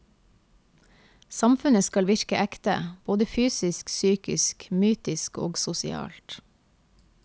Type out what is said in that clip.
Samfunnet skal virke ekte, både fysisk, psykisk, mytisk og sosialt.